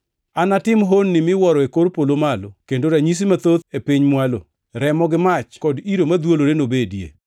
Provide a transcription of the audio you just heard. Anatim honni miwuoro e kor polo malo kod ranyisi mathoth e piny mwalo, remo gi mach kod iro madhwolore nobedie.